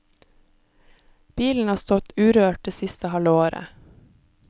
Bilen har stått urørt det siste halve året.